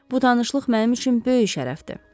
Bu tanışlıq mənim üçün böyük şərəfdir.